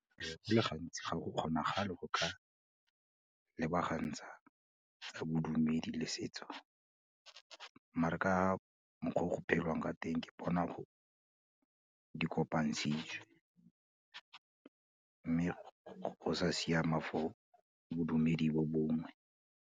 gantsi ga go kgonagale go ka lebagantsha tsa bodumedi le setso, maar-e ka mokgwa o go phelwang ka teng, ke bona go, dikopantshitswe, mme go sa siama for bodumedi bo bongwe.